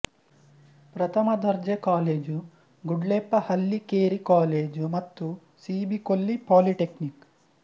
ಪ್ರಥಮ ದರ್ಜೆ college Gudleppa Hallikeri college ಮತ್ತು ಸಿ ಬಿ ಕೊಲ್ಲಿ ಪಾಲಿಟೆಕ್ನಿಕ್